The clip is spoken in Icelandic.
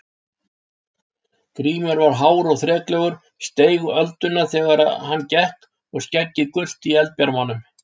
Grímur var hár og þreklegur, steig ölduna þegar hann gekk og skeggið gult í eldbjarmanum.